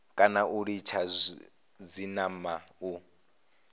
kana u litshisa zwinamana u